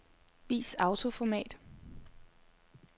Vis autoformat.